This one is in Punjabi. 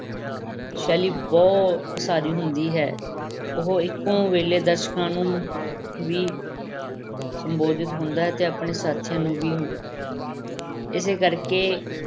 ਸ਼ੈਲੀ ਬਹੁ-ਪਸਾਰੀ ਹੁੰਦੀ ਹੈ, ਉਹ ਇੱਕੋ ਵੇਲੇ ਦਰਸ਼ਕਾਂ ਨੂੰ ਵੀ ਸੰਬੋਧਿਤ ਹੁੰਦਾ ਹੈ ਅਤੇ ਆਪਣੇ ਸਾਥੀਆਂ ਨੂੰ ਵੀ ਇਸੇ ਕਰਕੇ